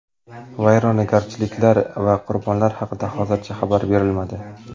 Vayronagarchiliklar va qurbonlar haqida hozircha xabar berilmadi.